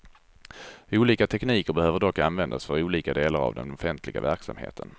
Olika tekniker behöver dock användas för olika delar av den offentliga verksamheten.